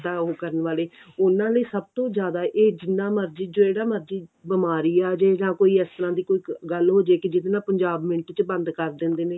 ਖੁਦ ਦਾ ਉਹ ਕਰਨ ਵਾਲੇ ਉਹਨਾ ਲਈ ਸਭ ਤੋਂ ਜਿਆਦਾ ਇਹ ਜਿੰਨਾ ਮਰਜੀ ਜਿਹੜਾ ਮਰਜੀ ਕੀ ਬਿਮਾਰੀ ਆਜੇ ਜਾਂ ਕੋਈ ਇਸ ਤਰ੍ਹਾਂ ਦੀ ਕੋਈ ਗੱਲ ਹੋਜੇ ਕੀ ਜਿਹੜੇ ਨਾਲ ਪੰਜਾਬ ਮਿੰਟ ਚ ਬੰਦ ਕਰ ਦਿੰਦੇ ਨੇ